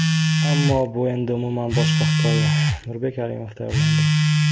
Ammo bu endi umuman boshqa hikoya... Nurbek Alimov tayyorlandi.